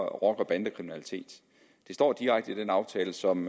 og bandekriminalitet det står direkte i den aftale som